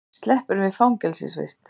Sleppur við fangelsisvist